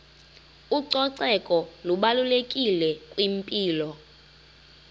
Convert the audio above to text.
ucoceko lubalulekile kwimpilo